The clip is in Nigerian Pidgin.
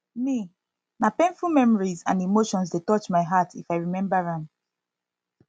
me na painful memories and emotions dey touch my my heart if i remember am